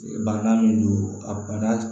Banan min don a bana